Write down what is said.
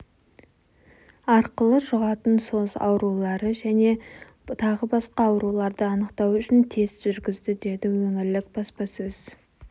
арқылы жұғатын соз аурулары және тағы басқа ауруларды анықтау үшін тест жүргізді деді өңірлік баспасөз